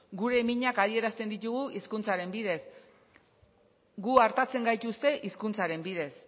gure minak adierazten ditugu hizkuntzaren bidez gu artatzen gaituzte hizkuntzaren bidez